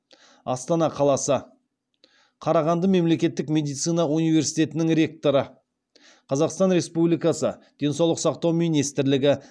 астана қаласы қарағанды мемлекеттік медицина университетінің ректоры қазақстан республикасы денсаулық сақтау министрлігі